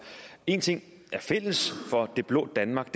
en ting er fælles for det blå danmark